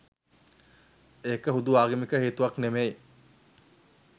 ඒක හුදු ආගමික හේතුවක් නෙවෙයි.